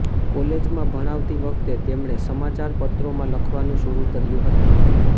કોલેજમાં ભણાવતી વખતે તેમણે સમાચારપત્રોમાં લખવાનું શરૂ કર્યું હતું